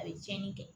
A bɛ tiɲɛni kɛ